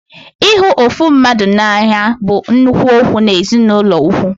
Ịhụ ofu mmadụ n'anya bụ nnukwu okwu n'ezinụlọ ukwu